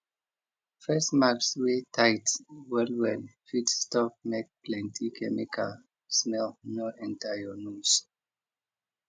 face mask wey tight well well fit stop make plenty chemical smell no enter your nose